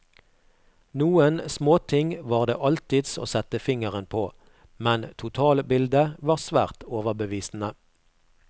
Noen småting var det alltids å sette fingeren på, men totalbildet var svært overbevisende.